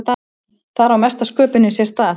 Þar á mesta sköpunin sér stað.